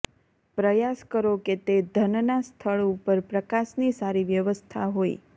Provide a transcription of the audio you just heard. પ્રયાસ કરો કે તે ધનના સ્થળ ઉપર પ્રકાશની સારી વ્યવસ્થા હોય